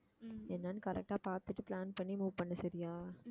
என்னன்னு correct ஆ பார்த்துட்டு plan பண்ணி move பண்ணு சரியா